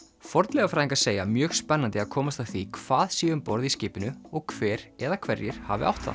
fornleifafræðingar segja mjög spennandi að komast að því hvað sé um borð í skipinu og hver eða hverjir hafi átt það